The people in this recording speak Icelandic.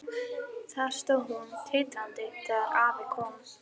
Þar stóð hún titrandi þegar afi kom.